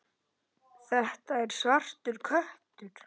Þetta var svartur köttur.